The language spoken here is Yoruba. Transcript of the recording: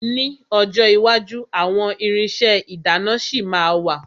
Ní ọjọ́ iwájú àwọn irinṣẹ́ ìdáná ṣì ma wà.